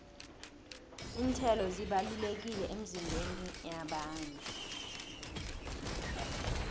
iinthelo zibalulekile emizimbeni yabantu